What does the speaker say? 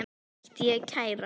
Ætti ég að kæra?